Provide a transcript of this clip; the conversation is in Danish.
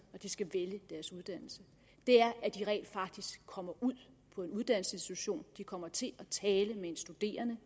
når de skal vælge deres uddannelse at de rent faktisk kommer ud på en uddannelsesinstitution at de kommer til at tale med en studerende